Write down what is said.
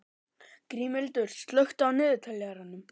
Grímhildur, slökktu á niðurteljaranum.